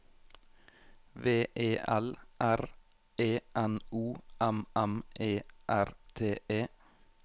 V E L R E N O M M E R T E